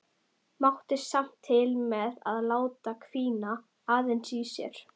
Mátti samt til með að láta hvína aðeins í sér.